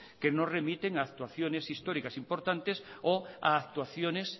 que no remiten actuaciones históricas importantes o actuaciones